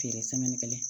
Feere kelen